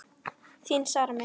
Þín Sara Mist.